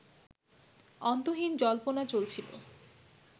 অন্তহীন জল্পনা চলছিলো